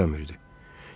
İşləmirdi.